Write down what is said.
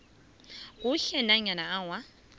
kuhle nanyana awa